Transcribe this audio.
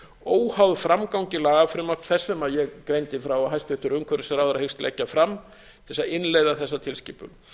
óháð framgangi lagafrumvarps þess sem ég greindi frá að hæstvirtur umhverfisráðherra hyggst leggja fram til þess að innleiða þessa tilskipun